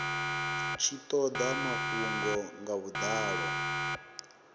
tshi toda mafhungo nga vhudalo